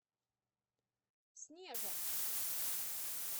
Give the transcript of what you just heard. снежа